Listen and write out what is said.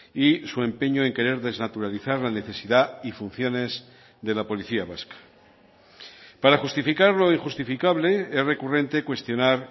y su empeño en querer desnaturalizar la necesidad y funciones de la policía vasca para justificar lo injustificable es recurrente cuestionar